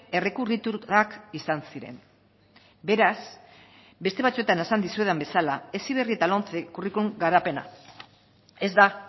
errekurrituak izan ziren beraz beste batzuetan esan dizuedan bezala heziberri eta lomce curriculum garapena ez da